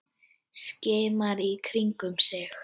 Skimar í kringum sig.